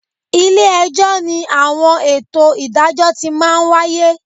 Ilé-ẹjọ́ ni àwọn ètò ìdájọ́ ti máa ń wáyé